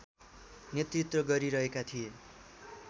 नेतृत्व गरिरहेका थिए